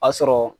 A sɔrɔ